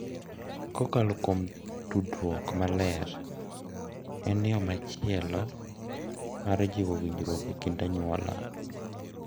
Kokalo kuom tudruok maler en yo machielo mar jiwo winjruok e kind anyuola.